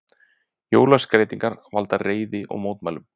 Jólaskreytingar valda reiði og mótmælum